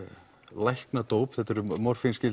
læknadóp þetta eru